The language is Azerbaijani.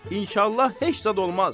İnşallah heç zad olmaz.